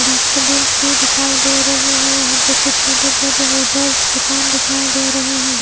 Dustbins भी दिखाई दे रही हैं यहां पे कुछ छोटे छोटे होटेल्स दुकान दिखाई दे रहे हैं।